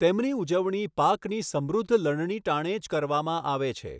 તેમની ઉજવણી પાકની સમૃધ્ધ લણણી ટાણે જ કરવામાં આવે છે.